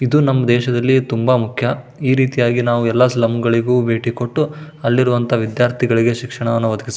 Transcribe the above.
ಇದು ನಮ್ ದೇಶದಲ್ಲಿ ತುಂಬಾಮುಖ್ಯ. ಈ ರೀತಿಯಾಗಿ ನಾವು ಎಲ್ಲ ಸ್ಲಂ ಗಳಿಗೂ ಭೇಟಿ ಕೊಟ್ಟು ಅಲ್ಲಿರುವಂಥ ವಿದ್ಯಾರ್ಥಿಗಳಿಗೆ ಶಿಕ್ಷಣವನ್ನು ಒದಗಿಸ --